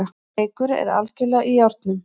Leikur er algerlega í járnum